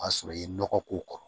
O y'a sɔrɔ i ye nɔgɔ k'o kɔrɔ